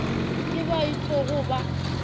ke bao e tlogo ba